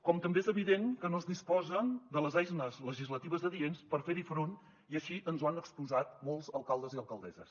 com també és evident que no es disposa de les eines legislatives adients per fer hi front i així ens ho han exposat molts alcaldes i alcaldesses